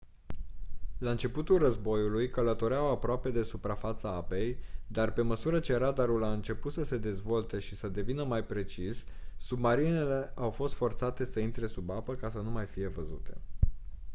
la începutul războiului călătoreau aproape de suprafața apei dar pe măsură ce radarul a început să se dezvolte și să devină mai precis submarinele au fost forțate să intre sub apă ca să nu fie văzute